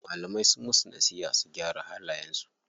Malamai sunyi musu nasiha su gyara halayen su.